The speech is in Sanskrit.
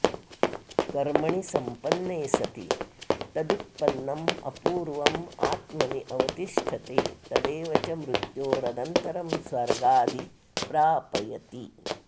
कर्मणि सम्पन्ने सति तदुत्पन्नम् अपूर्वम् आत्मनि अवतिष्ठते तदेव च मृत्योरनन्तरं स्वर्गादि प्रापयति